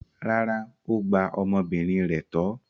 Rárá, ó gba ọmọbìnrin rẹ̀ tọ́.